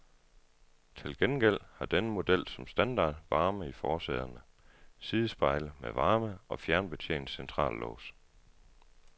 Til gengæld har denne model som standard varme i forsæderne, sidespejle med varme og fjernbetjent centrallås.